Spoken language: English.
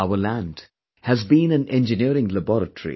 Our land has been an engineering laboratory